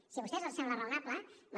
si a vostès els sembla raonable bé